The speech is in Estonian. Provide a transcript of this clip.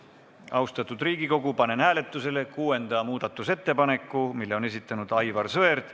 Austatud Riigikogu, panen hääletusele kuuenda muudatusettepaneku, mille on esitanud Aivar Sõerd.